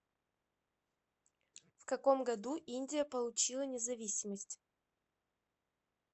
в каком году индия получила независимость